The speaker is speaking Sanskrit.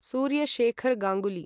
सूर्य शेखर् गांगुली